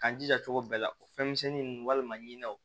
K'an jija cogo bɛɛ la o fɛn misɛnnin nunnu walima ɲinanw